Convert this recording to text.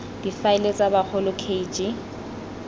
difaele tsa bagolo k g